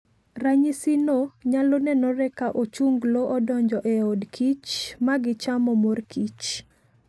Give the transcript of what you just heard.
Ranyisino nyalo nenore ka ochunglo odonjo e od kich magichamo mor kich.